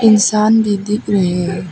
इंसान भी दिख रहे है।